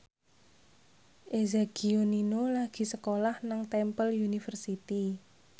Eza Gionino lagi sekolah nang Temple University